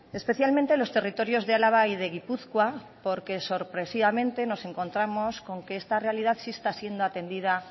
especialmente en los territorios de álava y de gipuzkoa porque sorpresivamente nos encontramos que esta realidad sí está siendo atendida